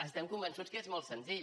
estem convençuts que és molt senzill